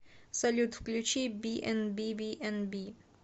салют включи би энд би би и би